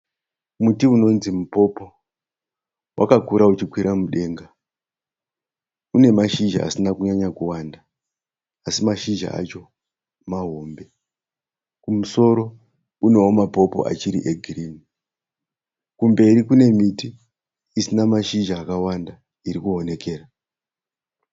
Muti unonzi mupopo, wakakura uchikwira mudenga, une mashizha asina kunyanya kuwanda asi mashizha acho mahombe, kumusoro unewo mapopo achiri egirini, kumberi kune miti isina mashizha akawanda irikuonekera.